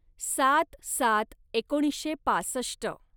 सात सात एकोणीसशे पासष्ट